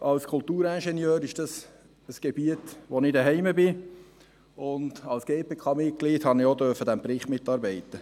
Als Kulturingenieur ist dies ein Gebiet, in dem ich zu Hause bin, und als GPK-Mitglied durfte ich am Bericht mitarbeiten.